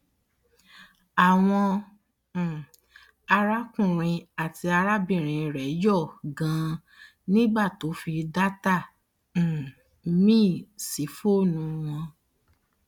àwọn um arákùnrin àti arábìnrin rẹ yọ ganan nígbà tó fi data um míì sí fọọnù wọn